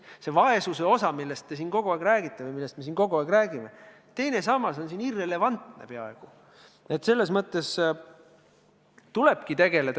Mis puutub vaesusesse, millest te siin kogu aeg räägite või millest me siin kogu aeg räägime, siis teine sammas on sellelt seisukohalt peaaegu irrelevantne.